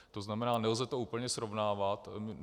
To znamená, nelze to úplně srovnávat.